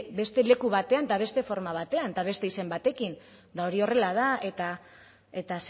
beste leku batean eta beste forma batean eta beste izen batekin eta hori horrela da eta